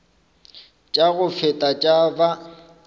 tša go feta tša ba